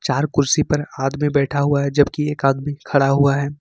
हर कुर्सी पर आदमी बैठा हुआ है जबकि एक आदमी खड़ा हुआ है।